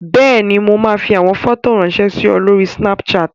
Bẹ́ẹ̀ni, mo máa fi àwọn fọ́tò ráńṣẹ́ sí ọ lórí Snapchat.